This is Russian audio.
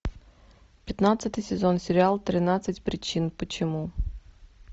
пятнадцатый сезон сериал тринадцать причин почему